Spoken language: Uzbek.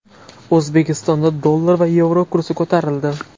O‘zbekistonda dollar va yevro kursi ko‘tarildi.